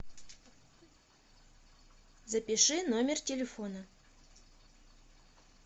запиши номер телефона